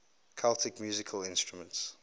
celtic musical instruments